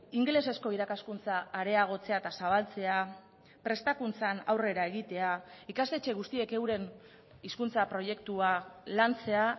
ingelesezko irakaskuntza areagotzea eta zabaltzea prestakuntzan aurrera egitea ikastetxe guztiek euren hizkuntza proiektua lantzea